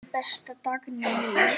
Elsku besta Dagný mín.